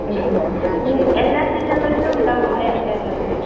ഉം ഉം ഈ എല്ലാ ജില്ലകളിലും ഉണ്ടാവും ലെ കേരളത്തില്?